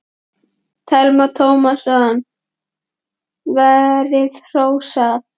Telma Tómasson: Verið hrósað?